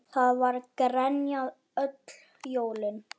Það var grenjað öll jólin.